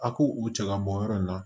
A k'u u cɛ ka bɔ yɔrɔ in na